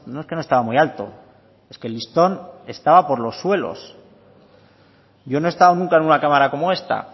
es que no estaba muy alto es que el listón estaba por los suelos yo no he estado nunca en una cámara como esta